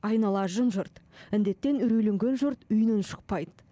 айнала жым жырт індеттен үйрейленген жұрт үйінен шықпайд